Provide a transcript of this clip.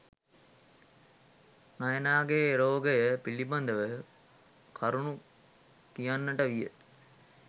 නයනාගේ රෝගය පිළිබදව කරුණු කියන්නට විය.